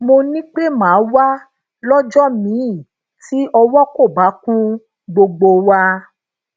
mo ni pé màá wá lójó míì tí owo ko bá kun gbogbo wa